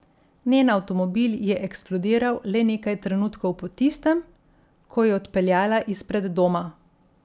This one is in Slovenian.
Njen avtomobil je eksplodiral le nekaj trenutkov po tistem, ko je odpeljala izpred doma.